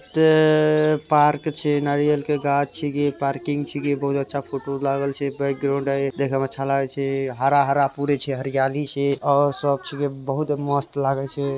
एता पार्क छीये नारियल के गाछ छीये पार्किंग छीये बहुत अच्छा फोटो लागल छै बैकग्राउंड हेय देखे में अच्छा लागे छै पूरा हरा-हरा पूरा छै हरियाली छै और सब छीये बहुत मस्त लागे छै।